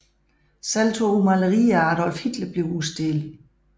Selv to malerier af Adolf Hitler bliver udstillet